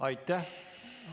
Aitäh!